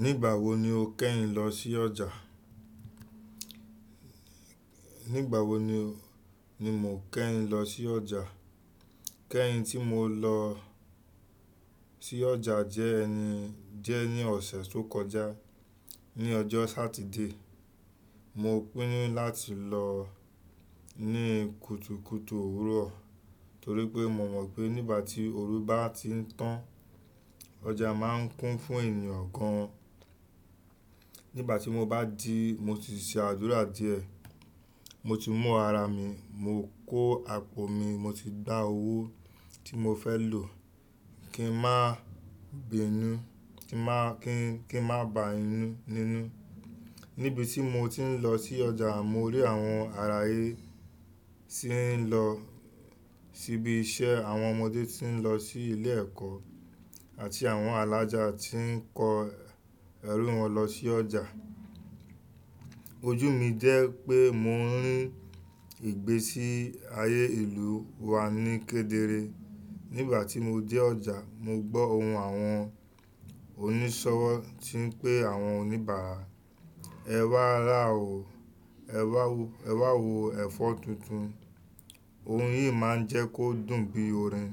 Nígbà wo ni o kẹ́yin lọ sí ọjà? Nígbà wo ni mo kẹ́yin lọ sí ọjà? Kẹ́yin tí mo lọ sí ọjà jẹ́ ẹni jẹ ní ọ̀sẹ̀ tó kọjá, ní ọjọ́ Sátidé. Mo pínnu láti lọ ní kùtùkùtù òwúrọ̀ torí pé mo mọ̀ pé nígbà tí òru bá ti ń tán, ọjà máa ń kún fún ènìyàn gan an. Nígbà tí mo bá jìí, mo ti se àdúrà díẹ̀. Mo ti mú ara mi, mo kó àpò mi, mo ti gba owó tí mo fẹ́ lò kí n má bèénú, kí n má bá inú nínú. Níbi tí mo ti ń lọ sí ọjà, mo rí àwọn ará ayé tí ń lọ síbi iṣẹ́, àwọn ọmọdé tí ń lọ sí ilé ẹ̀kọ́ àti àwọn alaja tí ń kó ẹrú wọn lọ sí ọjà. Ojú mi jẹ́ pé mo ń rí ìgbésí ayé ìlú wa ní kedere. Nígbà tí mo dé ọjà, mo gbọ́ ohùn àwọn onísọ̀wọ̀ tí ń pé àwọn oníbàárà, "Ẹ wá ra o, ẹ wá wo ẹ̀fọ́ tuntun." Ohun yìí máa ń jẹ́ kó dùn bí orin.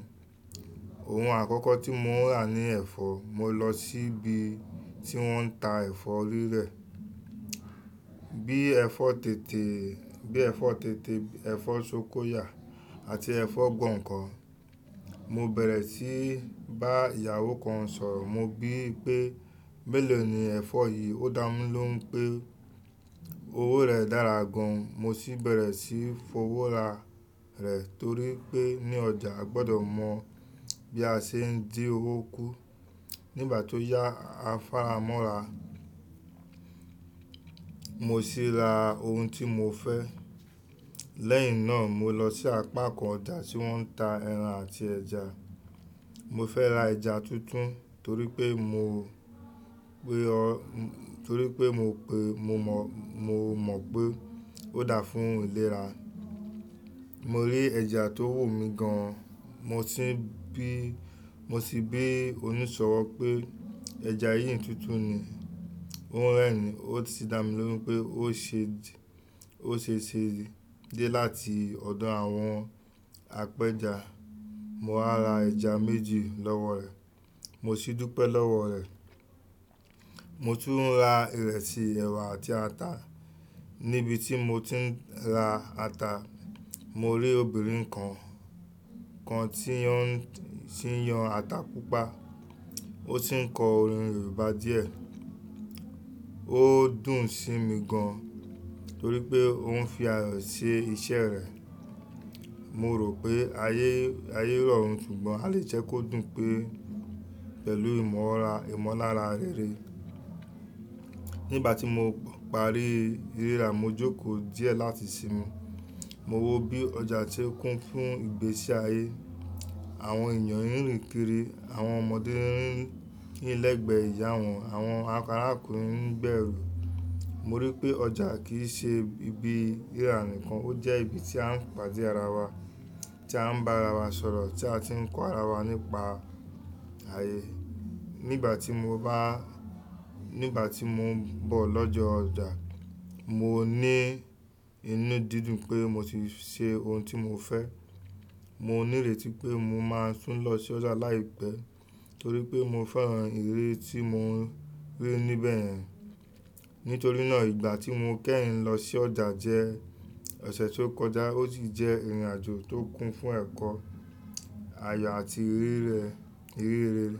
Ohun àkọ́kọ́ tí mo rà ní ẹ̀fọ́. Mo lọ síbi tí wọ́n ń ta ẹ̀fọ́ rírẹ̀, bí i ẹ̀fọ́ tètè, ẹ̀fọ́ sókọyà àti ẹ̀fọ́ gbọ̀ǹkọ̀. Mo bẹ̀rẹ̀ sí í bá ìyàwó kan sọ̀rọ̀, mo bí pé, "Mélòó ni ẹ̀fọ́ yìí?" Ó dá mí ló hún pé owó rẹ̀ dára gan an. Mo sì bẹ̀rẹ̀ sí í fowó ra rẹ̀ torí pé ní ọjà a gbọdọ̀ mọ bí a ṣe ń di owó kú. Nígbà tó yá afáramọ́ ra, mo sì ra ohun tí mo fẹ́. Lẹ́yìn náà mo lọ sí apá kan ọjà tí wọ́n ń ta ẹran àti ẹja. Mo fẹ́ ra ẹja tuntun torí pé mo mọ̀ mo pé ó dà fún ìlera. Mo rí ẹja tó wù mí gan an, mo sì bí oníṣọ̀wọ̀ pé, "Ẹja yìí tuntun ni?" Ó ń rẹ́rin, ó sì dá mi lóhún pé ó ṣeṣe dé láti ọ̀dọ̀ àwọn apẹja. Mo wá ra ẹja méjì lọ́wọ́ rẹ̀. Mo sì dúpẹ́ lọ́wọ́ rẹ̀. Mo tún ra ìrẹsì, ẹ̀wà àti ata. Níbi tí mo ti ń ra ata, mo rí obìnrin kan tí ó ń yan ata púpà. Ó sì ń kọ orin Yorùbá díẹ̀. Ó dùn sí mi gan torí pé ó ń fi ayọ̀ ṣe iṣẹ́ rẹ̀. Mo rò pé ayé rọrùn ṣùgbọ́n a lè jẹ́ kó dùn pẹ̀lú ìmọ̀lára rere. Nígbà tí mo parí rìra, mo jókòó díẹ̀ láti sinmi. Mo wo bí ọjà ti ń kún fún ìgbésí ayé. Àwọn èèyàn ń rìn kiri, àwọn ọmọdé ń rìn lẹ́gbẹ̀ẹ́ ìyá wọn, àwọn arákùnrin ń gbé ẹrú. Mo rí i pé ọjà kì í ṣe ibi rírà nìkan, ó jẹ́ ibi tí a ń pàdé ara wa, tí a ń bá ara wa sọ̀rọ̀, tí a ti ń kọ́ ara wa nípa ayé. Nígbà tí mo n bọ̀ lọ́jọ́ ọjà, mo ní inú dídùn pé mo ti ṣe ohun tí mo fẹ́. Mo ní ìrètí pé mo máa tún lọ s'ọjà láìpẹ́ torí pé mo fẹ́ran ìrírí tí mo rí níbẹ̀yen. Nítorí náà ìgbà tí mo kẹ́yin lọ sí ọjà jẹ́ ọ̀sẹ̀ tó kọjá ó sì jẹ́ ìrìnàjò tó kún fún ẹ̀kọ́, àyà àti ìríri rere.